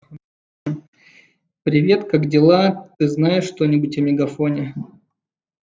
привет как дела ты знаешь что-нибудь о мегафоне